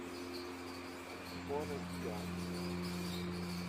форест гамп